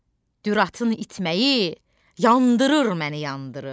Düratın itməyi yandırır məni, yandırır.